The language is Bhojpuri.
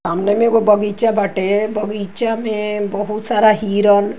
सामने में एगो बगीचा बाटे। बगीचा में बहुत सारा हिरन --